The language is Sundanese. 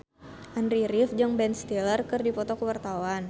Andy rif jeung Ben Stiller keur dipoto ku wartawan